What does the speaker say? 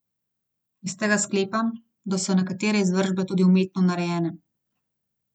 Iz tega sklepam, da so nekatere izvršbe tudi umetno narejene.